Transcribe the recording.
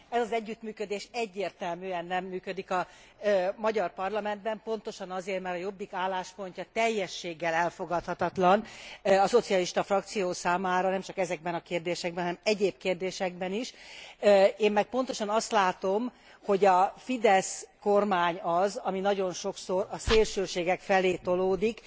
Ez az együttműködés egyértelműen nem működik a magyar parlamentben, pontosan azért, mert a Jobbik álláspontja teljességgel elfogadhatatlan a szocialista frakció számára, nemcsak ezekben a kérdésekben, hanem egyéb kérdésekben is. Én meg pontosan azt látom, hogy a FIDESZ kormány az, ami nagyon sokszor a szélsőségek felé tolódik.